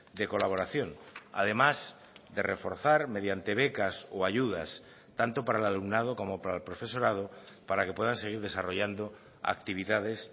de colaboración además de reforzar mediante becas o ayudas tanto para el alumnado como para el profesorado para que puedan seguir desarrollando actividades